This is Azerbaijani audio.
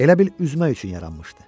Elə bil üzmək üçün yaranmışdı.